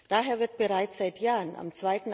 Daher wird bereits seit Jahren am